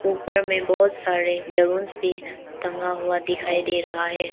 ऊपर में बहोत सारे बैलेंस भी टंगा हुआ दिखाई दे रहा है।